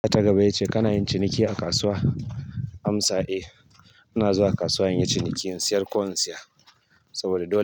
Tambaya ta gaba yace kana yin ciniki a kasuwa. Amsa, eh. Muna zuwa kasuwa muyi ciniki muyi sayar da ko in saya saboda dole.